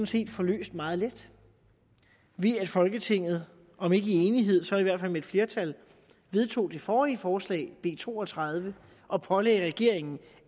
set få løst meget let ved at folketinget om ikke i enighed så i hvert fald med et flertal vedtog det forrige forslag b to og tredive og pålagde regeringen